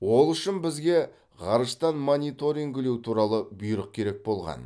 ол үшін бізге ғарыштан мониторингілеу туралы бұйрық керек болған